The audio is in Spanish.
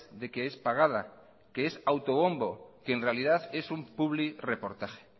de que es pagada que es autobombo que en realidad en un publirreportaje